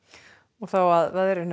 þá að veðri